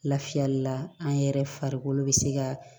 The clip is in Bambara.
Lafiyali la an yɛrɛ farikolo bɛ se ka